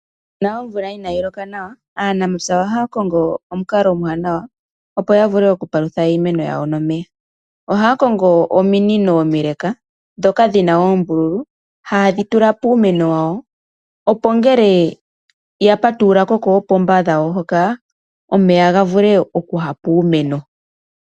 Uuna omvula ina yi loka nawa aanamapya ohaya kongo omukalo omuwanawa opo ya vule okupalutha iimeno yawo nomeya ohaya kongo ominino omile ndhoka dhi na oombululu haye dhi tula puumeno wawo opo ngele ya patululako koopomba dhawo hoka omeya ga vule okuya puumeno.